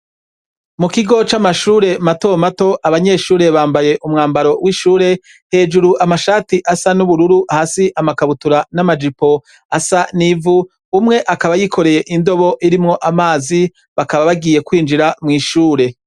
Mu kigo c'amashure mato mato abanyeshure bambaye umwambaro w'ishure, hejuru amashati asa n'ubururu hasi amakabutura n'amajipo asa n'ivu, umwe akaba yikoreye indobo irimwo amazi, bakaba bagiye kwinjira mw'ishure.